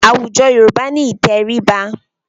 Awùjọ̀ Yorùbá ni ìtẹríba.